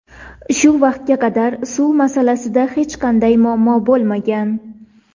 Shu vaqtga qadar suv masalasida hech qanday muammo bo‘lmagan.